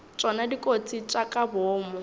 tšona dikotsi tša ka boomo